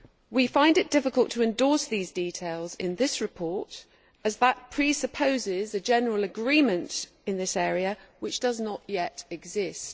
We find it difficult to endorse these details in the report, as this presupposes a general agreement in this area which does not yet exist.